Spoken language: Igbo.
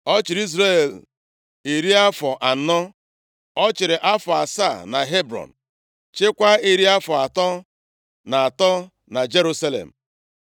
Ọ chịrị Izrel iri afọ anọ. Ọ chịrị afọ asaa na Hebrọn, chịakwa iri afọ atọ na atọ na Jerusalem.